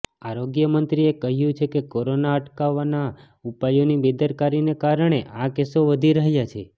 આરોગ્યમંત્રીએ કહ્યું છે કે કોરોના અટકાવવાનાં ઉપાયોની બેદરકારીને કારણે આ કેસો વધી રહ્યા છે